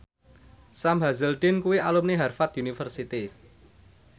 Sam Hazeldine kuwi alumni Harvard university